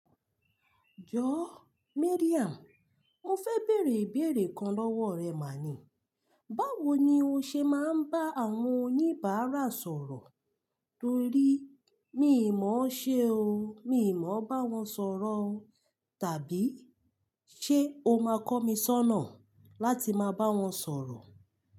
Jọ Miriam, mo fẹ bẹẹ̀rẹ ibẹẹ̀rẹ kan lọ́wọ́ rẹ ma ni. Báwo ni o ṣe máa ń bá àwọn oníbàárà sọ̀rọ̀? Torí mi ò mọ̀ ọ́n ṣé o. Mi ò mọ̀ bá wọn sọ̀rọ̀ tàbí ṣe o máa kọ́ mi ṣọ́nà láti máa bá wọn sọ̀rọ̀?